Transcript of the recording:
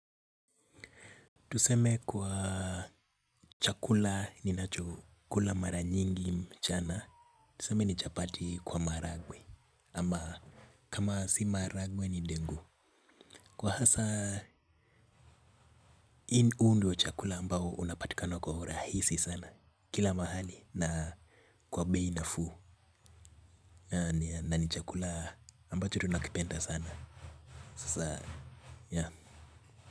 Tuseme kwa chakula ninacho kula mara nyingi mchana. Tuseme ni chapati kwa maragwe. Ama kama si maragwe ni dengu. Kwa hasa inundi wa chakula ambao unapatikano kwa rahisi sana. Kila mahali na kwa bei nafuu. Na ni chakula ambacho tunakipenda sana. Sasa ya.